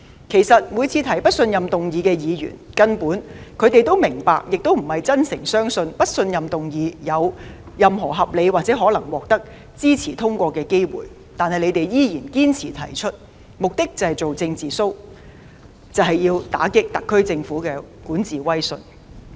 其實每次提出不信任議案的議員根本並非真誠地相信不信任議案有任何獲支持通過的合理可能，但他們依然堅持提出，目的是做"政治 show"， 打擊特區政府的管治威信。